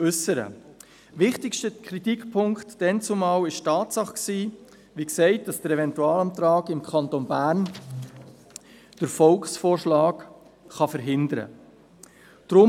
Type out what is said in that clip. Der damals wichtigste Kritikpunkt war die Tatsache, dass der Eventualantrag im Kanton Bern den Volksvorschlag, wie gesagt, verhindern kann.